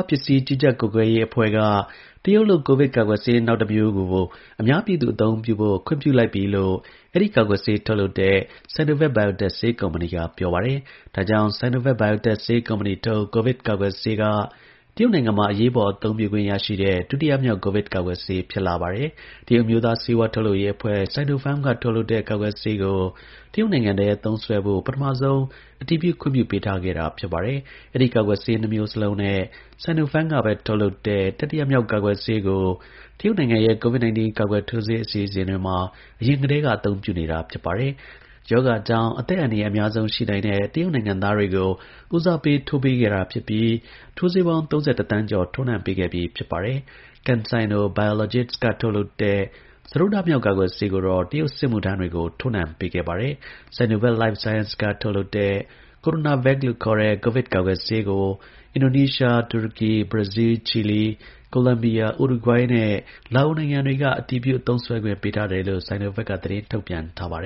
းပစ်စညျး ကွီးကွပျကှပျကဲရေး အဖှဲ့က တရုတျလုပျ Sinovac ကိုဗဈကာကှယျဆေးကို အမြားပွညျသူ အသုံးပွုဖို့ အတညျပွု ခှငျ့ပွုလိုကျပွီလို့ အဲဒီ ကာကှယျဆေး ထုတျလုပျတဲ့ Sinovac Biotech ဆေးကုမ်ပဏီ က ပွောပါတယျ။ ဒါကွောငျ့ Sinovac Biotech ဆေးကုမ်ပဏီထုတျ ကိုဗဈကာကှယျဆေးက တရုတျနိုငျငံမှာ အသုံးပွုခှငျ့ ရရှိတဲ့ ဒုတိယမွောကျ ကိုဗဈ ကာကှယျဆေး ဖွဈလာပါတယျ။ တရုတျအမြိုးသား ဆေးဝါးထုတျလုပျရေး အဖှဲ့ (Sinopharm) က ထုတျလုပျတဲ့ ကာကှယျဆေးကို တရုတျနိုငျငံထဲ သုံးစှဲဖို့ ပထမဆုံး အတညျပွု ခှငျ့ပွုပေးထားခဲ့တာပါ။ အဲဒီ ကာကှယျဆေး နှဈမြိုးစလုံးနဲ့ Sinopharm ကပဲ ထုတျလုပျတဲ့ တတိယမွောကျ ကာကှယျဆေးကို တရုတျနိုငျငံရဲ့ COVID 19 ကာကှယျထိုးဆေး အစီအစဥျတှမှော အရငျကတညျးက အသုံးပွုနတောပါ။ ရောဂါကွောငျ့ အသကျအန်တရာယျ အမြားဆုံး ရှိနိုငျတဲ့ တရုတျနိုငျငံသားတှေ ကို ဦးစားပေး ထိုးပေးခဲ့တာ ဖွဈပွီး ထိုးဆေးပေါငျး ၃၁ သနျး ကြောျ ထိုးနှံပေးခဲ့ပွီး ဖွဈပါတယျ။ CanSino Biologics က ထုတျလုပျတဲ့ စတုတ်ထမွောကျ ကာကှယျဆေးကိုတော့ တရုတျ စဈမှုထမျးတှကေို ထိုးနှံပေးခဲ့ပါတယျ။ Sinovac Life Sciences က ထုတျလုပျတဲ့ CoronaVac လို့ ခေါျတဲ့ ကိုဗဈကာကှယျဆေးကို အငျဒိုနီးရှား၊ တူရကီ၊ ဘရာဇီးလျ၊ ခြီလီ၊ ကိုလံဘီယာ၊ ဥရုဂှေး နဲ့ လာအိုနိုငျငံတှကေ အတညျပွု သုံးစှဲခှငျ့ ပေးထားတယျလို့ Sinovac က သတငျးထုတျပွနျထားပါတ